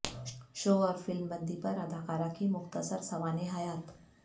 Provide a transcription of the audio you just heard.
شو اور فلم بندی پر اداکارہ کی مختصر سوانح حیات